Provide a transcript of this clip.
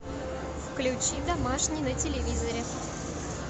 включи домашний на телевизоре